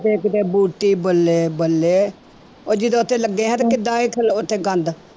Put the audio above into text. ਤੇ ਕਿਤੇ ਬੂਟੀ ਬੱਲੇ ਬੱਲੇ ਉਹ ਜਦੋਂ ਉੱਥੇ ਲੱਗੇ ਹੈ ਤੇ ਕਿੱਦਾਂ ਇਹ ਉੱਥੇ ਗੰਦ